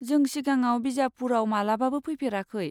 जों सिगाङाव बिजापुरआव मालाबाबो फैफेराखै।